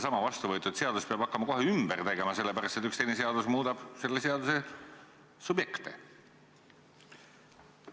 Seda vastu võetud seadust peab hakkama kohe ümber tegema, sellepärast et üks teine seadus muudab selle seaduse subjekte?